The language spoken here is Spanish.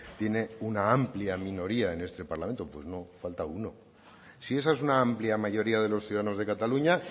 tiene una amplia minoría en este parlamento pues no falta uno si esa es una amplia mayoría de los ciudadanos de cataluña